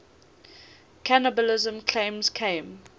cannibalism claims came